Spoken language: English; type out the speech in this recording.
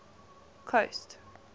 coast